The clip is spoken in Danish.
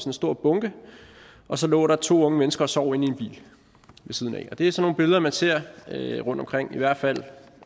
en stor bunke og så lå der to unge mennesker og sov inde i en bil ved siden af det er sådan nogle billeder man ser rundtomkring i hvert fald